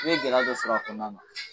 I bɛ gɛlɛya dɔ sɔrɔ a kɔnɔna na..